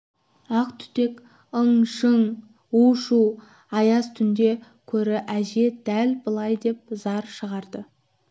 ақ түтек ың-шың у-шу аяз түнде көрі әже дәл былай деп зар шығарды